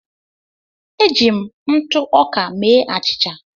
Eji m ntụ ọka mee achịcha.